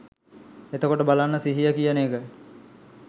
එතකොට බලන්න සිහිය කියන එක